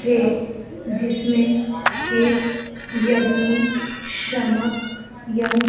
थे जिसमें एक यग्नी शमक यन --